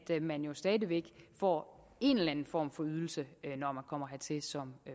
man stadig væk får en eller anden form for ydelse når man kommer hertil som